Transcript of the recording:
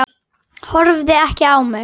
Horfði ekki á mig.